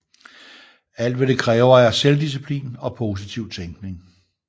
Alt hvad det kræver er selvdisciplin og positiv tænkning